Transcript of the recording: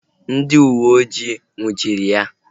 Ndị uweojii a nnwuchiri ya?